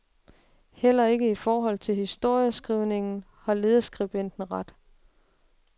Heller ikke i forhold til historieskrivningen har lederskribenten ret.